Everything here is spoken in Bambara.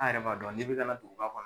An yɛrɛ b'a dɔn ni bɛ kana duguba kɔnɔ.